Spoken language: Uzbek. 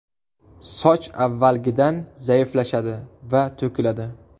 Soch avvalgidan zaiflashadi va to‘kiladi.